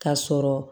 K'a sɔrɔ